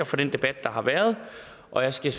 for den debat der har været og jeg skal